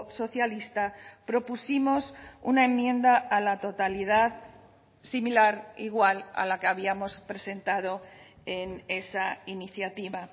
socialista propusimos una enmienda a la totalidad similar igual a la que habíamos presentado en esa iniciativa